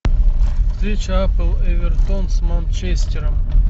встреча апл эвертон с манчестером